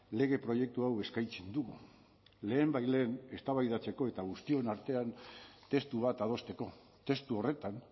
lege proiektu hau eskaintzen dugu lehenbailehen eztabaidatzeko eta guztion artean testu bat adosteko testu horretan